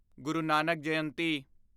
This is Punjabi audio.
ਗੁਰੂ ਨਾਨਕ ਜਯੰਤੀ